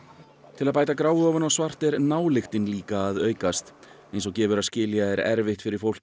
til að bæta gráu ofan á svart er nályktin líka að aukast eins og gefur að skilja er erfitt fyrir fólk